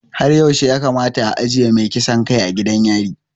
Har yaushe ya kamata a ajiye mai kisan kai a gidan yari?